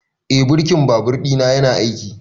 Eh birkin babur ɗina yana aiki